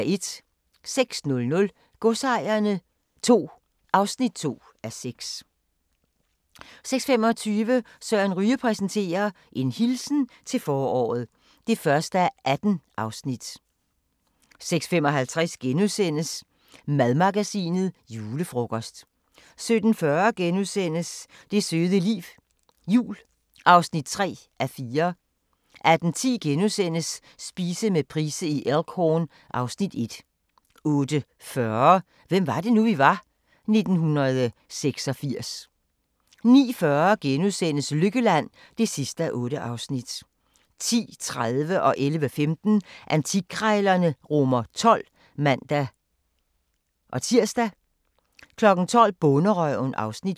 06:00: Godsejerne II (2:6) 06:25: Søren Ryge præsenterer: En hilsen til foråret (1:18) 06:55: Madmagasinet: Julefrokost * 07:40: Det søde liv – jul (3:4)* 08:10: Spise med Price i Elk Horn (Afs. 1)* 08:40: Hvem var det nu, vi var? - 1986 09:40: Lykkeland (8:8)* 10:30: Antikkrejlerne XII (man-tir) 11:15: Antikkrejlerne XII (man-tir) 12:00: Bonderøven (Afs. 5)